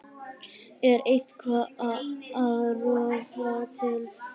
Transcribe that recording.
Er eitthvað að rofa til?